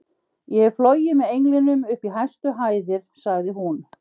Ég hef flogið með englinum upp í hæstu hæðir sagði hún.